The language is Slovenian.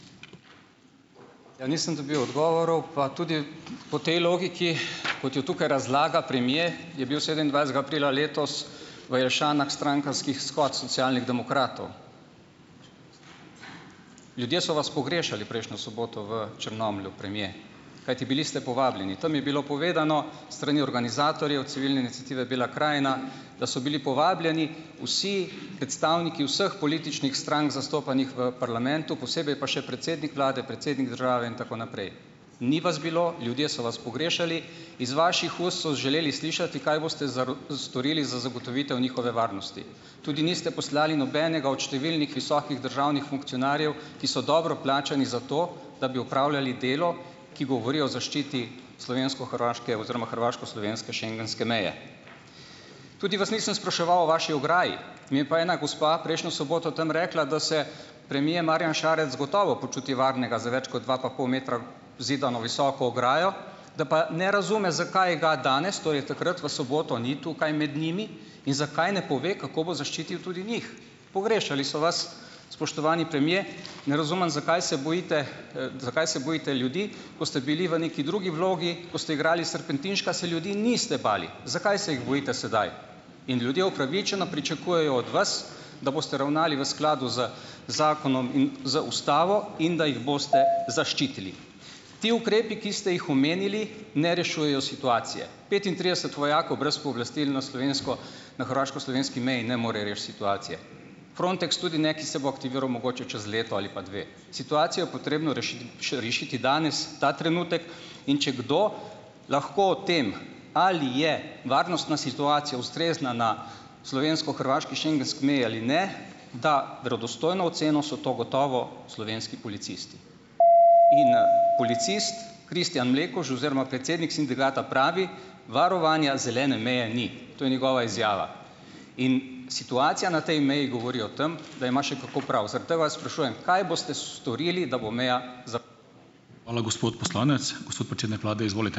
Ja, nisem dobil odgovorov pa tudi po tej logiki, kot jo tukaj razlaga premier, je bil sedemindvajsetega aprila letos v Jelšanah strankarski shod Socialnih demokratov. Ljudje so vas pogrešali prejšnjo soboto v Črnomlju, premier. Kajti bili ste povabljeni. Tam je bilo povedano, strani organizatorjev, Civilne iniciative Bela krajina, da so bili povabljeni vsi predstavniki vseh političnih strank, zastopanih v parlamentu, posebej pa še predsednik vlade, predsednik države in tako naprej. Ni vas bilo, ljudje so vas pogrešali, iz vaših ust so želeli slišati, kaj boste storili za zagotovitev njihove varnosti. Tudi niste poslali nobenega od številnih visokih državnih funkcionarjev, ki so dobro plačani za to, da bi opravljali delo, ki govori o zaščiti slovensko-hrvaške oziroma hrvaško-slovenske schengenske meje. Tudi vas nisem spraševal o vaši ograji. Mi je pa ena gospa prejšnjo soboto tam rekla, da se premier Marjan Šarec gotovo počuti varnega za več kot dva pa pol metra zidano visoko ograjo, da pa ne razume, zakaj ga danes, torej takrat v soboto, ni tukaj med njimi in zakaj ne pove, kako bo zaščitil tudi njih. Pogrešali so vas, spoštovani premier. Ne razumem zakaj se bojite, zakaj se bojite ljudi, ko ste bili v neki drugi vlogi, ko ste igrali Serpentinška, se ljudi niste bali. Zakaj se jih bojite sedaj? In ljudje upravičeno pričakujejo od vas, da boste ravnali v skladu z zakonom in z ustavo in da jih boste zaščitili. Ti ukrepi, ki ste jih omenili, ne rešujejo situacije. Petintrideset vojakov brez pooblastil na slovensko, na hrvaško-slovenski meji ne more rešiti situacije. Frontex tudi ne, ki se bo aktiviral mogoče čez leto ali pa dve. Situacijo potrebno rešiti danes, ta trenutek, in če kdo lahko tem ali je varnostna situacija ustrezna na slovensko-hrvaški schengenski meji ali ne, ta verodostojno oceno, so to gotovo slovenski policisti. In, policist Kristjan Mlekuž oziroma predsednik sindikata pravi: "Varovanja zelene meje ni." To je njegova izjava. In, situacija na tej meji govori o tem, da ima še kako prav. Zato vas sprašujem, kaj boste storili, da bo imel ... Hvala, gospod poslanec. Gospod predsednik vlade, izvolite.